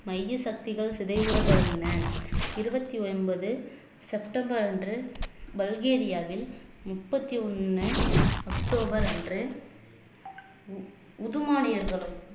மைய சக்திகள் சிதைவுற தொடங்கின இருபத்தி ஒன்பது செப்டம்பர் அன்று பல்கேரியாவில் முப்பத்தி ஒண்ணு அக்டோபர் அன்று உது உதுமானியர்களும்